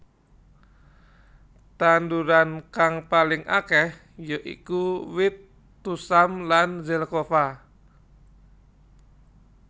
Tanduran kang paling akeh ya iku wit tusam lan zelkova